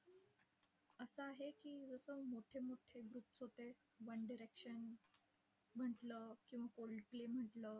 असं आहे की, जसं मोठे मोठे groups होते, वन डिरेक्शन म्हटलं किंवा ओल्ड प्ले म्हटलं.